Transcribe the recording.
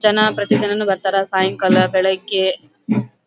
ಜನ ಪ್ರತಿ ದಿನಾನೂ ಬರ್ತಾರ ಸಾಯಂಕಾಲ ಬೆಳಿಗ್ಗೆ --